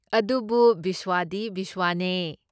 ꯑꯗꯨꯕꯨ ꯕꯤꯁꯋꯥꯗꯤ ꯕꯤꯁꯋꯥꯅꯦ꯫